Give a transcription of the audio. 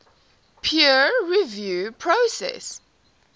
peer review process